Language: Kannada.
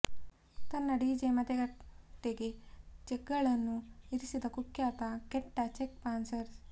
ತನ್ನ ಡಿಜೆ ಮತಗಟ್ಟೆಗೆ ಚೆಕ್ಗಳನ್ನು ಇರಿಸಿದ ಕುಖ್ಯಾತ ಕೆಟ್ಟ ಚೆಕ್ ಪಾಸ್ಸರ್